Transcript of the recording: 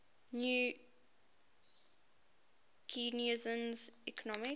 new keynesian economics